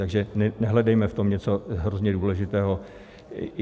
Takže nehledejme v tom něco hrozně důležitého.